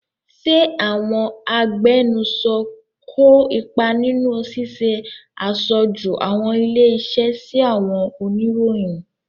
Ṣé àwọn agbẹnusọ kó ipa nínú ṣíṣe aṣojú àwọn ilé-iṣẹ́ sí àwọn oníròyìn?